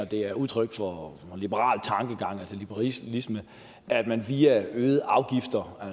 det er udtryk for liberal tankegang liberalisme at man via øgede afgifter